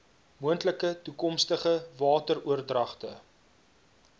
moontlike toekomstige wateroordragte